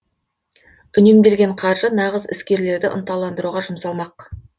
үнемделген қаржы нағыз іскерлерді ынталандыруға жұмсалмақ